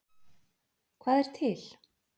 Hvað er til?